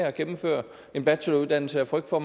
at gennemføre en bacheloruddannelse af frygt for